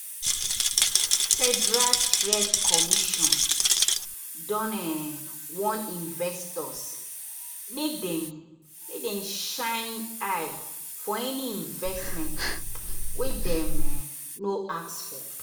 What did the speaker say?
federal trade commission don um warn investors make dem shine um eye for any investment wey dem um no ask for.